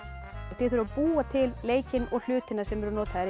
þið þurfið að búa til leikinn og hlutina sem eru notaðir í